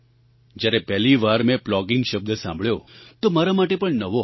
જ્યારે પહેલી વાર મેં પ્લોગિંગ શબ્દ સાંભળ્યો તો મારા માટે પણ નવો હતો